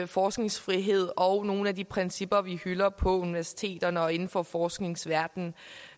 forskningsfrihed og nogle af de principper vi hylder på universiteterne og inden for forskningsverdenen